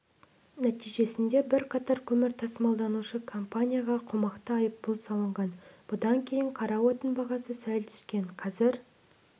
нәтижесінде бірқатар көмір тасымалдаушы компанияға қомақты айыппұл салынған бұдан кейін қара отын бағасы сәл түскен қазір